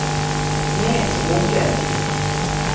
Näsåker